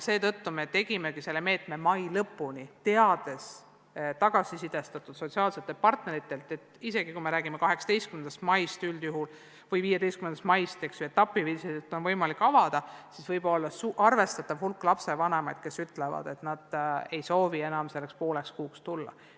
Seetõttu me kehtestasimegi selle meetme mai lõpuni, teades tagasisidestatud sotsiaalsetelt partneritelt, et isegi siis, kui räägime 18. maist või 15. maist, kui etapi viisi on huvikoole võimalik avada, on arvestatav hulk lapsevanemaid, kes ütlevad, et nad ei soovi selleks pooleks kuuks last enam kooli tuua.